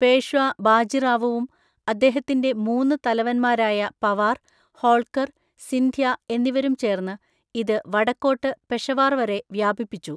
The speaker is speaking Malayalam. പേഷ്വാ ബാജിറാവുവും അദ്ദേഹത്തിന്റെ മൂന്ന് തലവൻമാരായ പവാർ, ഹോൾക്കർ, സിന്ധ്യ എന്നിവരും ചേർന്ന് ഇത് വടക്കോട്ട് പെഷവാർ വരെ വ്യാപിപ്പിച്ചു.